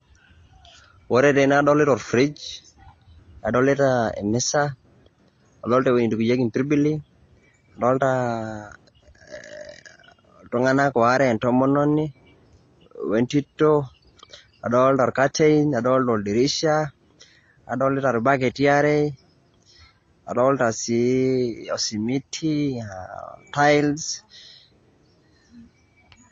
Ore tene adolita o fridge ,nadolita emisa, adolta ewuei nitobirieki mpirbili, adolta iltung'anak ware, entomononi we entito. Adolta ilkatein. Adolta oldirisha, adolita irbaketi aare, adolta si osimiti, tiles.